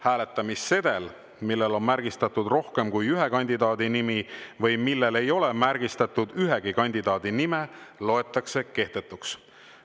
Hääletamissedel, millel on märgistatud rohkem kui ühe kandidaadi nimi või millel ei ole märgistatud ühegi kandidaadi nime, loetakse kehtetuks.